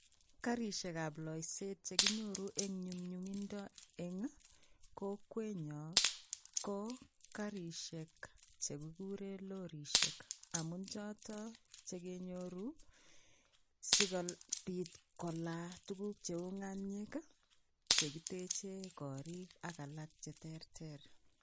Karishekab loiset chekinyoru eng nyumnyumindo eng kokwenyo ko karishek che kikuren lorisiek amun choto che kenyoru sigopit kolaa tuguk cheu ng'aniek che kitechei korik ak alak cheterter.